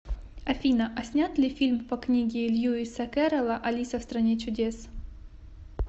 афина а снят ли фильм по книге льюиса керрола алиса в стране чудес